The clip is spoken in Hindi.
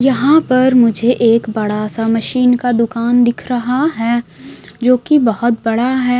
यहां पर मुझे एक बड़ा सा मशीन का दुकान दिख रहा है जो की बहोत बड़ा है।